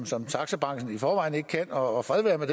som taxabranchen i forvejen ikke kan og fred være med